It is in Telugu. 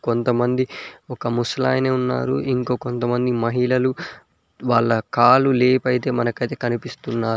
కొంతమంది ఒక ముసలాయన ఉన్నారు ఇంకో కొంతమంది మహిళలు వాళ్ళ కాలు లేపైతే మనకైతే కనిపిస్తున్నారు.